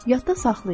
Yadda saxlayın.